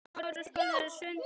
Við munum aldrei gleyma þér.